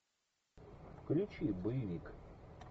включи боевик